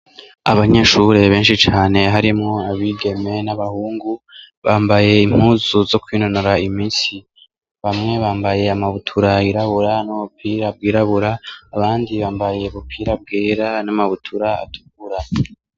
Abanyehuri benshi cane harimwo abigeme n' abahungu, Bambaye impuzu zo kwinonora imitsi . Bamwe bambaye ama butura n' ubupira bwirabira, abandi ubupira bwera n' ama butura atukura.